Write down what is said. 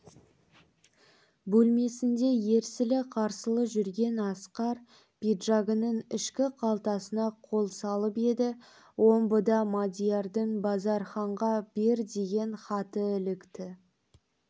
бөлмесінде ерсілі-қарсылы жүрген асқар пиджагінің ішкі қалтасына қол салып еді омбыда мадиярдың базарханға бер деген хаты ілікті